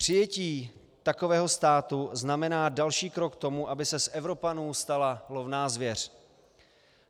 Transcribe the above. Přijetí takového státu znamená další krok k tomu, aby se z Evropanů stala lovná zvěř.